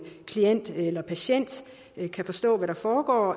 klient eller patient kan forstå hvad der foregår